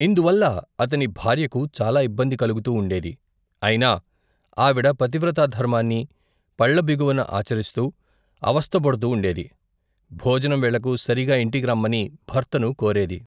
ఇందువల్ల అతని భార్యకు చాలా ఇబ్బంది కలుగుతూ ఉoడేది, అయినా, ఆవిడ పతివ్రతాధర్మాన్ని, పళ్ళబిగువున ఆచరిస్తూ, అవస్థపడుతు ఉoడేది, భోజనం వేళకు, సరిగా ఇంటికి రమ్మని, భర్తను కోరేది.